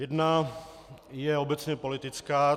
Jedna je obecně politická.